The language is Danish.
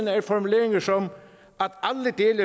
er formuleringer som